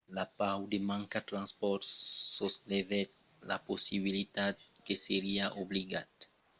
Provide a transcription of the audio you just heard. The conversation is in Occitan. la paur de manca de transpòrts soslevèt la possibilitat que seriá obligat de jogar la partida a pòrtas barradas sens los partisans de l’equipa